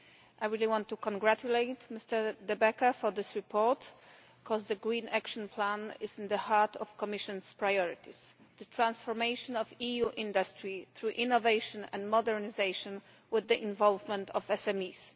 I really want to congratulate Mr De Backer on this report because the Green Action Plan is at the heart of the Commission's priorities the transformation of EU industry through innovation and modernisation with the involvement of SMEs.